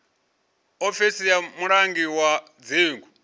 ofisi ya mulangi wa dzingu